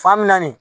Fan mina nin